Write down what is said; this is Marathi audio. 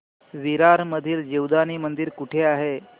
विरार मधील जीवदानी मंदिर कुठे आहे